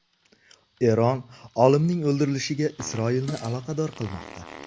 Eron olimning o‘ldirilishiga Isroilni aloqador qilmoqda.